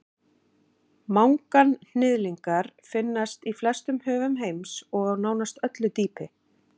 Manganhnyðlingar finnast í flestum höfum heims og á nánast öllu dýpi.